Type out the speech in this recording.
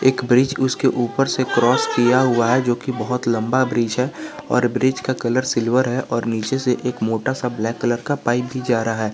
एक ब्रिज उसके ऊपर से क्रॉस किया हुआ है जो कि बहोत लंबा ब्रिज है और ब्रिज का कलर सिल्वर है और नीचे से एक मोटा सा ब्लैक कलर का पाइप भी जा रहा है।